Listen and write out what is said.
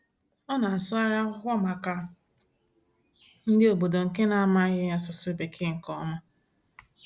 Ọ na-asụgharị akwụkwọ maka ndị obodo nke na-amaghị asụsụ Bekee nke ọma.